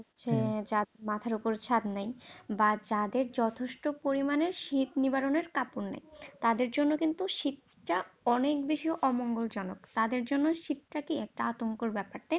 হচ্ছে মাথার উপর ছাদ নাই, বা যাদের যথেষ্ট পরিমাণে শীত নিবারণের কাপড় নাই, তাদের জন্য কিন্তু শীতটা অনেক বেশি অমঙ্গলজনক, তাদের জন্য শীতটা কি একটা আতঙ্কের ব্যাপার